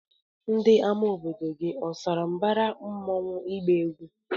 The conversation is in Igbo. Ama obodo gi osara mbara mmụọnwu igba egwụ?